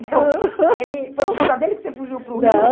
ele. Foi por causa dele que você fugiu para o Rio? Não